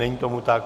Není tomu tak.